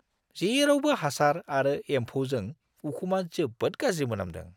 जेरावबो हासार आरो एम्फौजों उखुमा जोबोद गाज्रि मोनामदों!